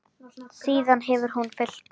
Síðan hefur hún fylgt mér.